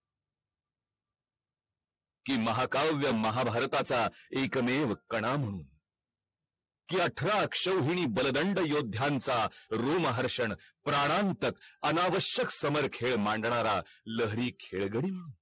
कि महाकाव्य महाभारताचा एक मेव कणा म्हणून की अठरा अश्विनी बलदंड योध्यांचा रुम्हर्शन प्राणांतक अनावष्यक समरखेल मांडणारा लहरी खेळगडी म्हणून